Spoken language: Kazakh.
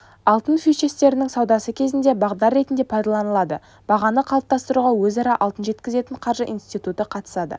алтын фьючерстерінің саудасы кезінде бағдар ретінде пайдаланылады бағаны қалыптастыруға өзара алтын жеткізетін қаржы институты қатысады